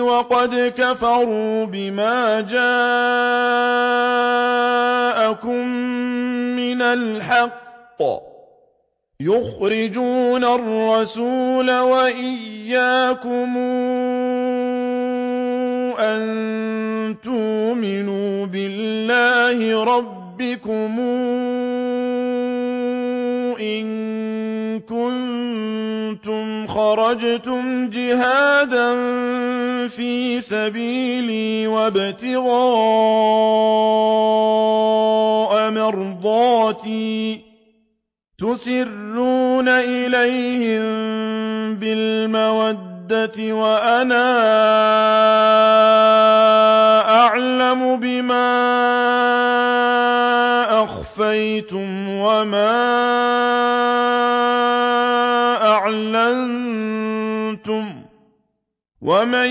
وَقَدْ كَفَرُوا بِمَا جَاءَكُم مِّنَ الْحَقِّ يُخْرِجُونَ الرَّسُولَ وَإِيَّاكُمْ ۙ أَن تُؤْمِنُوا بِاللَّهِ رَبِّكُمْ إِن كُنتُمْ خَرَجْتُمْ جِهَادًا فِي سَبِيلِي وَابْتِغَاءَ مَرْضَاتِي ۚ تُسِرُّونَ إِلَيْهِم بِالْمَوَدَّةِ وَأَنَا أَعْلَمُ بِمَا أَخْفَيْتُمْ وَمَا أَعْلَنتُمْ ۚ وَمَن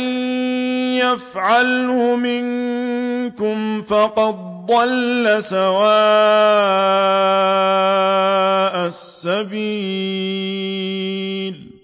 يَفْعَلْهُ مِنكُمْ فَقَدْ ضَلَّ سَوَاءَ السَّبِيلِ